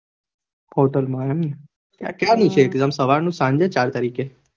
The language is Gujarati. Hotel માં એમ ને ક્યારનું exam છે સવારનું સાંજે ચાર તારીખે